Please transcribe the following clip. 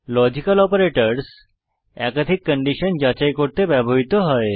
logical operators একাধিক condition যাচাই করতে ব্যবহৃত হয়